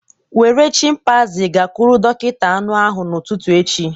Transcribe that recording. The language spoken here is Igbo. Were chimpanzee gakwuru dọkịta anụ ahụ n'ụtụtụ echi